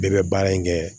Bɛɛ bɛ baara in kɛ